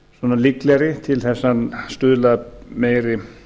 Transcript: séu líklegri til að stuðla að meiri